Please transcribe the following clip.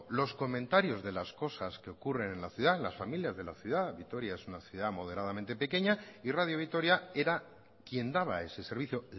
los comentarios de las cosas que ocurren en la ciudad en las familias de la ciudad vitoria es una ciudad moderadamente pequeña y radio vitoria era quien daba ese servicio